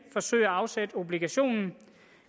forsøge at afsætte obligationen